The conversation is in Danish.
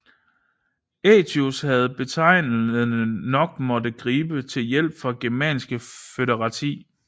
Aëtius havde betegnende nok måttet gribe til hjælp fra germanske foederati